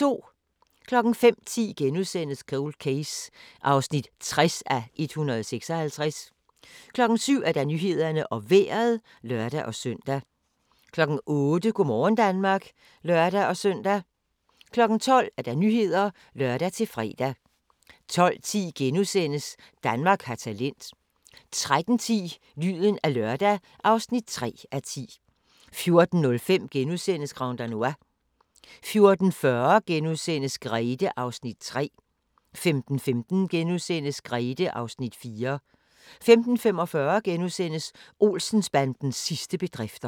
05:10: Cold Case (60:156)* 07:00: Nyhederne og Vejret (lør-søn) 08:00: Go' morgen Danmark (lør-søn) 12:00: Nyhederne (lør-fre) 12:10: Danmark har talent * 13:15: Lyden af lørdag (3:10) 14:05: Grand Danois * 14:40: Grethe (Afs. 3)* 15:15: Grethe (Afs. 4)* 15:45: Olsen-bandens sidste bedrifter *